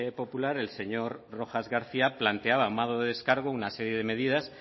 popular el señor rojas garcía planteaba a modo de descargo una serie de medidas